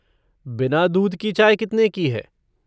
बिना दूध की चाय कितने की है?